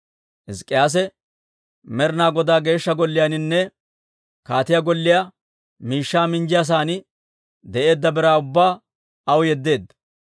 Hizk'k'iyaase Med'ina Godaa Geeshsha Golliyaaninne kaatiyaa golliyaa miishshaa minjjiyaasan de'eedda biraa ubbaa aw yeddeedda.